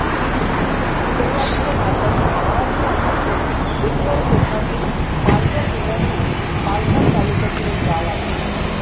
शेलवाडी हे भारतातील महाराष्ट्र राज्यातील उत्तर कोकणातील पालघर जिल्ह्यातील पालघर तालुक्यातील एक गाव आहे